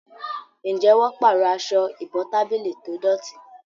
Njé wón parọ Aṣọ ìbotábílì tó dọti?